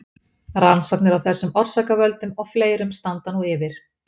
rannsóknir á þessum orsakavöldum og fleirum standa nú yfir